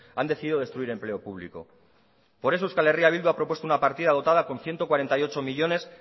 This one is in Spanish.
han decidido destruir empleo público por eso euskal herria bildu ha propuesto una partida dotada con ciento cuarenta y ocho millónes